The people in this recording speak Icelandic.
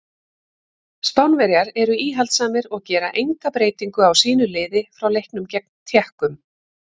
Spánverjar eru íhaldssamir og gera enga breytingu á sínu liði frá leiknum gegn Tékkum.